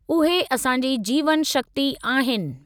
उहे असांजी जीवन शक्ती आहिनि।